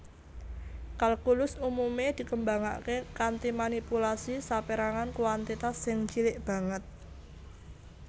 Kalkulus umumé dikembangaké kanthi manipulasi sapérangan kuantitas sing cilik banget